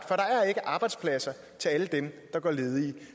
der er ikke arbejdspladser til alle dem der går ledige